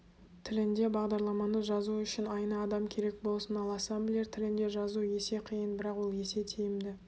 тілінде бағдарламаны жазу үшін айына адам керек болсын ал ассемблер тілінде жазу есе қиын бірақ ол есе тиімді